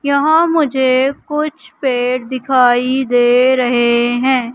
यहां मुझे कुछ पेड़ दिखाई दे रहे हैं।